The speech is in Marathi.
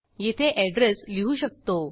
येथे एड्रेस लिहू शकतो